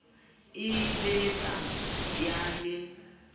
e be ba ya le